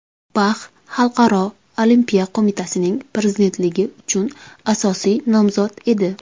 Bax Xalqaro Olimpiya Qo‘mitasining prezidentligi uchun asosiy nomzod edi.